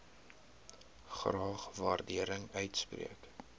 graag waardering uitspreek